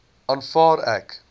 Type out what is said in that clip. aanvaar ek